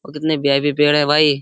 और कितने वी.आई.पी. पेड़ हैं भाई।